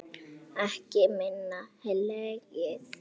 Ekki minna hlegið.